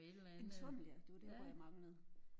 En tunnel ja det var det ord jeg manglede